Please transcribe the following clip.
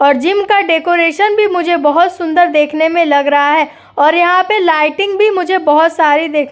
और जिम का डेकोरेशन भी मुझे बहोत सुंदर देखने में लग रहा है और यहां पे लाइटिंग भी मुझे बहोत सारी देख --